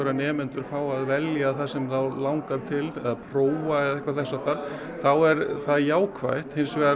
að nemendur fái að velja það sem þá langar til eða prófa eða eitthvað þess háttar þá er það jákvætt hins vegar